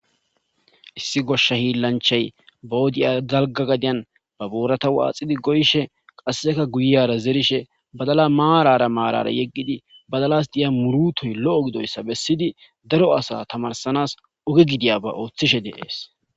Issi goshsha hiillanchay ba wodiya dalgga gadan ba boorata waaxidi goyishe qasseka guyara zerishe badala maarara maarara yeggidi badalas diya muurutoy lo'o gidoyssa bessidi daro asa tamaarsanas oge gidiyaba ooththishe de'es.